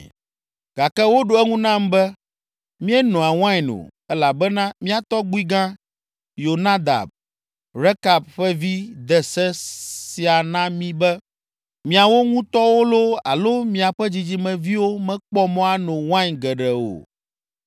Gake woɖo eŋu nam be, “Míenoa wain o, elabena mía tɔgbuigã, Yonadab, Rekab ƒe vi de se sia na mí be, ‘Miawo ŋutɔwo loo, alo miaƒe dzidzimeviwo mekpɔ mɔ ano wain gbeɖe o.